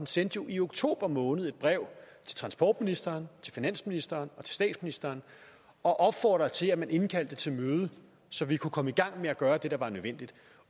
sendte jo i oktober måned et brev til transportministeren til finansministeren og til statsministeren og opfordrede til at man indkaldte til møde så vi kunne komme i gang med at gøre det der var nødvendigt